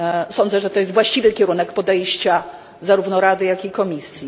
Sądzę, że jest to właściwy kierunek podejścia, zarówno Rady, jak i Komisji.